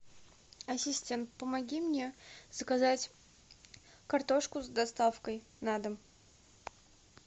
ассистент помоги мне заказать картошку с доставкой на дом